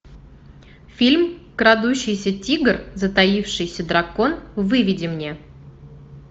фильм крадущийся тигр затаившийся дракон выведи мне